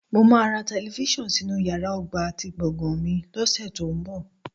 Mo máa ra tẹlifíṣàn sínú yàrá ọgbà ti gbọ̀gàn mi lọ́sẹ̀ tó ń bọ̀